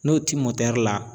N'o ti la